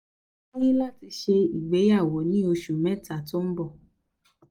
mo ní láti ṣe ìgbéyàwó ní oṣù mẹ́ta tó ń bọ̀